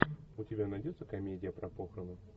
у тебя найдется комедия про похороны